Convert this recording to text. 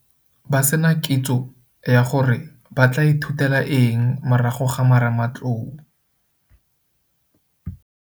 Ba se na kitso ya gore ba tla ithutela eng morago ga marematlou.